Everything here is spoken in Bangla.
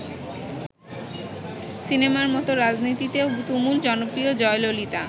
সিনেমার মত রাজনীতিতেও তুমুল জনপ্রিয় জয়ললিতা।